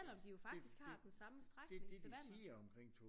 Selvom de jo faktisk har den samme strækning til vandet